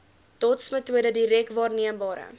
dotsmetode direk waarneembare